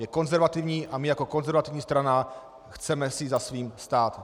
Je konzervativní a my jako konzervativní strana si chceme za svým stát.